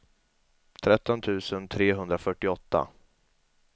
tretton tusen trehundrafyrtioåtta